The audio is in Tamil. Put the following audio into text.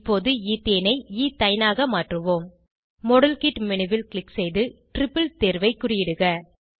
இப்போது ஈத்தேனை ஈத்தைனாக மாற்றுவோம் மாடல்கிட் மேனு ல் க்ளிக் செய்து டிரிப்பிள் தேர்வை குறியிடுக